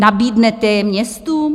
Nabídnete je městům?